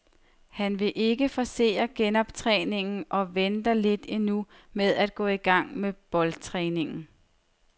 Han vil ikke forcere genoptræningen og venter lidt endnu med at gå i gang med boldtræningen.